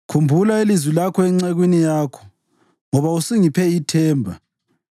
Khumbula ilizwi lakho encekwini yakho, ngoba usungiphe ithemba.